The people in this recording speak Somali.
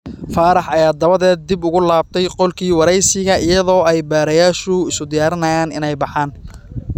Faarax ayaa dabadeed dib ugu laabtay qolkii waraysiga iyadoo ay baadhayaashu isu diyaarinayaan inay baxaan.